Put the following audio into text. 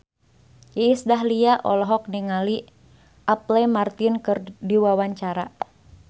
Iis Dahlia olohok ningali Apple Martin keur diwawancara